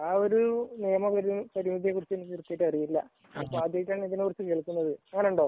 ആ ഒരു നിയമ പരിധിയെ കുറിച്ച് എനിക്ക് അറിയില്ല ആദ്യമായിട്ടാണ് ഇതിനെ കുറിച്ച കേൾക്കുന്നത് അങ്ങനെയുണ്ടോ